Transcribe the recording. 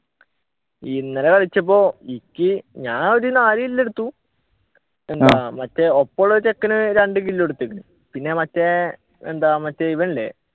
ഇന്നലെ കളിച്ചപ്പോ ഈ ഞാൻ ഒരു നാല് kill എടുത്തു മറ്റേ ഒപ്പമുള്ള ഒരു ചെക്കൻ രണ്ടു kill എടുത്ത് പിന്നെ മറ്റെയെന്താ ഇവനില്ലേ